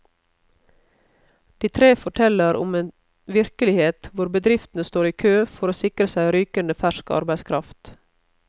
De tre forteller om en virkelighet hvor bedriftene står i kø for å sikre seg rykende fersk arbeidskraft.